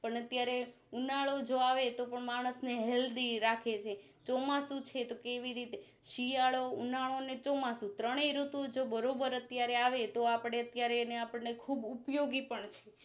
પણ અત્યારે ઉનાળો જો આવે તો માણસ ને Healthy રાખેછે ચોમસું છે તો એવી રીતે શિયાળો ઉનાળો અને ચોમાસું ત્રણેય ઋતુ જો બરોબર અત્યારે આવે તો આપણે અત્યારે એને આપણને ખુબ ઉપયોગી પણ